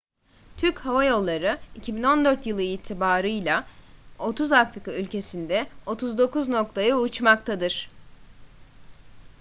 türk hava yolları 2014 yılı itibarıyla 30 afrika ülkesinde 39 noktaya uçmaktadır